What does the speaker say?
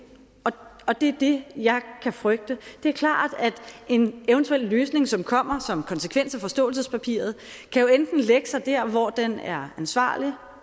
og det er det jeg kan frygte det er klart at en eventuel løsning som kommer som konsekvens af forståelsespapiret jo enten kan lægge sig der hvor den er ansvarlig